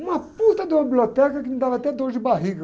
Uma de uma biblioteca que me dava até dor de barriga.